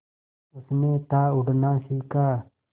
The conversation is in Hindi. उसने था उड़ना सिखा